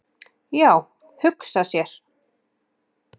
"""Já, hugsa sér!"""